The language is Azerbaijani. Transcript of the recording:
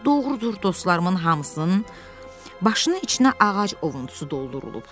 Doğrudur, dostlarımın hamısının başına içinə ağac ovuntusu doldurulub.